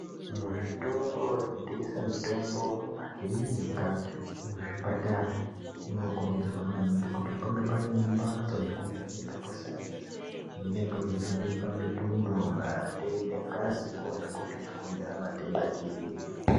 Muzvitoro zvinotengesa mitombo mumakirinika nemuzvipatara munokurudzirwa maningi kuti pange paine mbatso yekuvheneka kwesainzi kunenge kweivhenekwa mitundo, mate nengazi kuona kuti chakonzera matenda chiinyi.